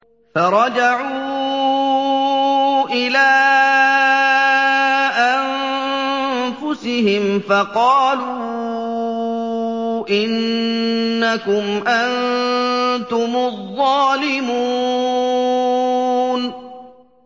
فَرَجَعُوا إِلَىٰ أَنفُسِهِمْ فَقَالُوا إِنَّكُمْ أَنتُمُ الظَّالِمُونَ